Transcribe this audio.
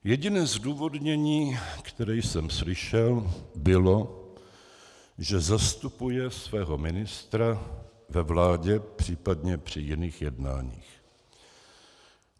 Jediné zdůvodnění, které jsem slyšel, bylo, že zastupuje svého ministra ve vládě, případně při jiných jednáních.